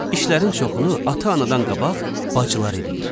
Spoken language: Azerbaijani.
İşlərin çoxunu ata, anadan qabaq bacılar eləyir.